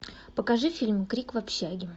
покажи фильм крик в общаге